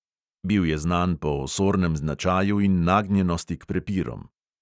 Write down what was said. Bil je znan po osornem značaju in nagnjenosti k prepirom.